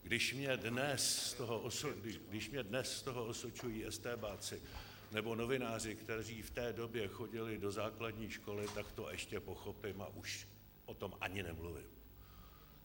Když mě dnes z toho osočují estébáci nebo novináři, kteří v té době chodili do základní školy, tak to ještě pochopím a už o tom ani nemluvím.